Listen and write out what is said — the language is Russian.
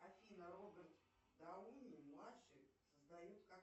афина роберт дауни младший создает